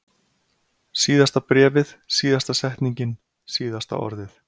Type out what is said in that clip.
Síðasta bréfið, síðasta setningin, síðasta orðið.